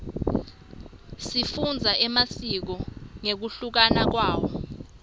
sifundza emasiko ngekunluka kwawo